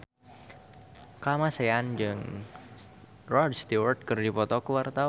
Kamasean jeung Rod Stewart keur dipoto ku wartawan